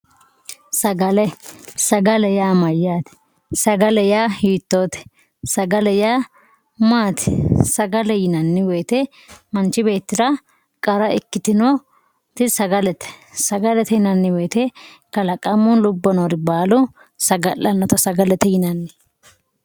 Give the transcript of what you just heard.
Sagale, sagale yaa mayyate, sagale yaa hiittote, sagale yaa maati, sagale yinanni woyte manchi beettira qara ikkitinoti sagalete, sagalete yinanni woyte kalaqamu lubbo noori baalu saga'lanotta sagalete yinanni.